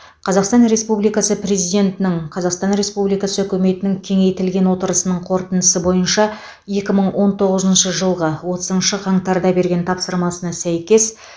қазақстан республикасы президентінің қазақстан республикасы үкіметінің кеңейтілген отырысының қорытындысы бойынша екі мың он тоғызыншы жылғы отызыншы қаңтарда берген тапсырмасына сәйкес